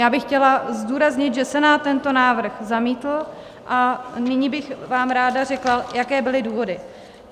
Já bych chtěla zdůraznit, že Senát tento návrh zamítl, a nyní bych vám ráda řekla, jaké byly důvody.